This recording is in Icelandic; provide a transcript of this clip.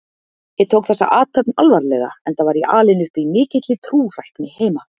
Ég tók þessa athöfn alvarlega enda var ég alinn upp í mikilli trúrækni heima.